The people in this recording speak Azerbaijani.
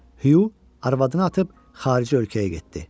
Hu arvadını atıb xarici ölkəyə getdi.